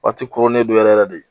Waati koronnen don yɛrɛ yɛrɛ de